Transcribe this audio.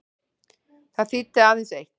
Það þýddi aðeins eitt.